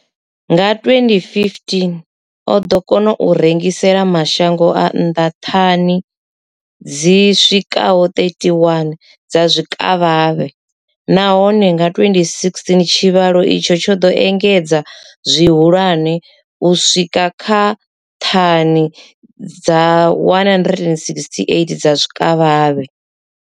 Nga 2015, o ḓo kona u rengisela mashango a nnḓa ṱhani dzi swikaho 31 dza zwikavhavhe, nahone nga 2016 tshivhalo itshi tsho ḓo engedzea zwihulwane u swika kha ṱhani dza 168 dza zwikavhavhe.